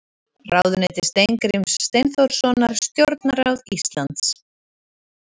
Ráðuneyti Steingríms Steinþórssonar Stjórnarráð Íslands.